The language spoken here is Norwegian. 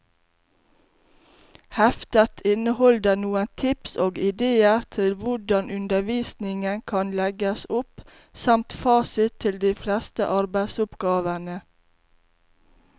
Heftet inneholder noen tips og idéer til hvordan undervisningen kan legges opp, samt fasit til de fleste arbeidsoppgavene.